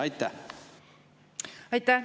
Aitäh!